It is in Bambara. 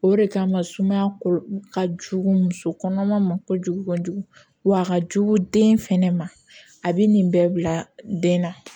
O de kama sumaya kɔlɔ ka jugu muso kɔnɔma ma kojugu kojugu wa a ka jugu den fɛnɛ ma a be nin bɛɛ bila den na